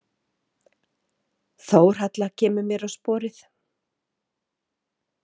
Þórhalla kemur mér á sporið.